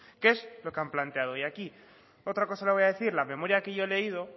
qué es lo que han planteado y aquí otra cosa le voy a decir la memoria que yo he leído